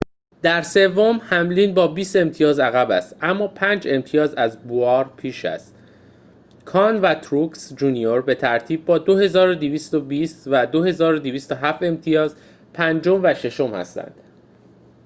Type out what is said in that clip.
در سوم هملین با بیست امتیاز عقب است اما پنج امتیاز از بوایر پیش است کان و تروکس جونیور به ترتیب با ۲۲۲۰ و ۲۲۰۷ امتیاز پنجم و ششم هستند